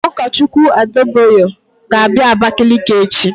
Pastor Adebayo will come to Abakaliki tomorrow.